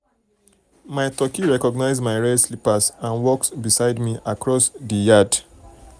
mai turkey recognizes mai red slippers and walks beside me across di yard